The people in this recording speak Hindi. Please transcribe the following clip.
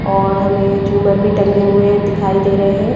और हमें झूमर भी टंगे हुए दिखाई दे रहे--